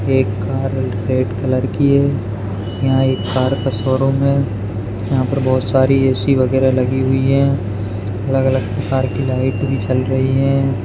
एक कर red colour है यहाँ एक कार का शोरूम है यहाँ पर बहुत सारी बहुत सारी ए सि वगैरे लगी हुई है अलग अलग प्रकार की लाईट भी चल रही है।